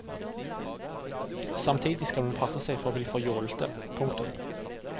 Samtidig skal man passe seg for å bli for jålete. punktum